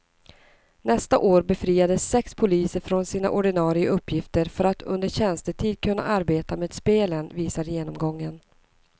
Nästa år befriades sex poliser från sina ordinarie uppgifter för att under tjänstetid kunna arbeta med spelen, visar genomgången.